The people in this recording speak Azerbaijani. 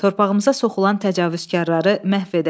Torpağımıza soxulan təcavüzkarları məhv edək.